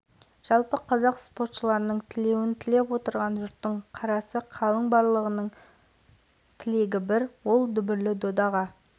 мен үшін универсиада алауын алып жүру үлкен мақтаныш өйткені мен спортшылардың бірі болып жүгірдім және де